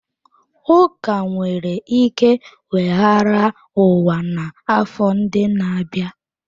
Ụka nwere ike weghara ụwa n'afọ ndị na-abịa.